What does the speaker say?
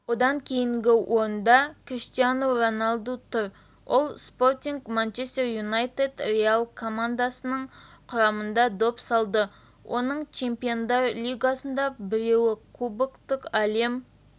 одан кейінгі орында криштиану роналду тұр ол спортинг манчестер юнайтед реал командаларының құрамында доп салды оның чемпиондар лигасында біреуі клубтық әлем